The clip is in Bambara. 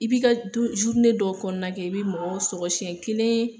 I bɛ ka dɔw kɔnɔna kɛ , i bɛ mɔgɔw siyɛn kelen